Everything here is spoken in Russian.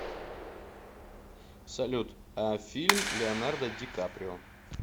салют а фильм леонардо ди каприо